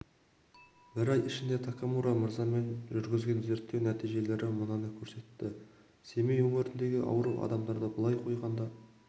бір ай ішінде такамура мырзамен жүргізген зерттеу нәтижелері мынаны көрсетті семей өңіріндегі ауру адамдарды былай қойғанда